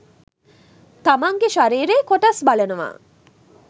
තමන්ගේ ශරීරයේ කොටස් බලනව.